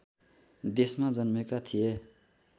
देशमा जन्मेका थिए